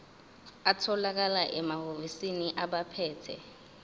atholakala emahhovisi abaphethe